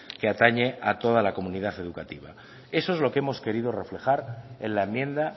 que atañe a toda la comunidad educativa eso es lo que hemos querido reflejar en la enmienda